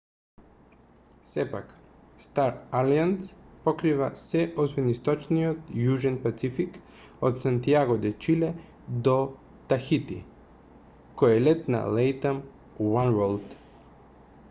сепак star alliance покрива се освен источниот јужен пацифик од сантијаго де чиле до тахити кој е лет на latam oneworld